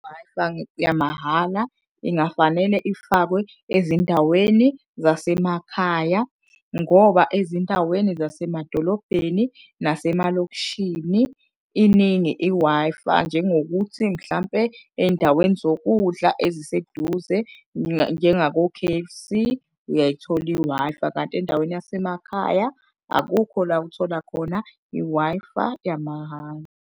I-Wi-Fi yamahhala ingafanele ifakwe ezindaweni zasemakhaya ngoba ezindaweni zasemadolobheni nasemalokishini iningi i-Wi-Fi. Njengokuthi mhlampe ey'ndaweni zokudla eziseduze, njengako-K_F_C, uyayithola i-Wi-Fi, kanti endaweni yasemakhaya akukho la othola khona i-Wi-Fi yamahhala.